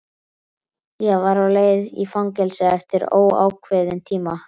Ég var á leið í fangelsi eftir óákveðinn tíma.